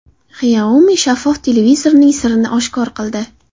Xiaomi shaffof televizorining sirini oshkor qildi.